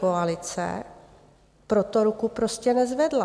Pětikoalice pro to ruku prostě nezvedla.